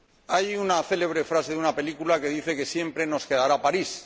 Hay una célebre frase de una película que dice que siempre nos quedará París.